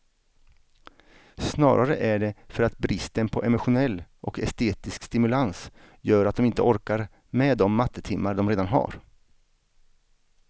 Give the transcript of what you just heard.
Snarare är det för att bristen på emotionell och estetisk stimulans gör att de inte orkar med de mattetimmar de redan har.